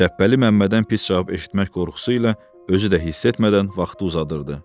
Şəhbəli Məmmədən pis cavab eşitmək qorxusu ilə özü də hiss etmədən vaxtı uzadırdı.